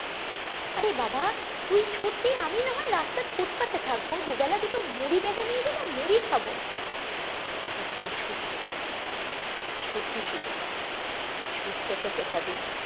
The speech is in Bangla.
অরে বাবা তুই ছুটবি আমি না হয় রাস্তার ফুটপাতে থাকবো দু বেলা দুটি মুড়ি বেঁধে নিয়ে যাবো মুড়ি খাবো তবু তুই ছুটবি ছুটবি শিলু ছুটতে তোকে হবেই